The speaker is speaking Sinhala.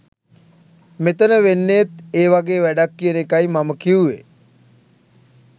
මෙතන වෙන්නේත් ඒ වගේ වැඩක් කියන එකයි මම කිව්වේ.